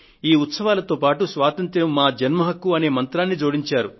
ఈ ఉత్సవాలతో పాటు స్వాతంత్య్రం మా జన్మ హక్కు అనే మంత్రాన్ని జోడించారు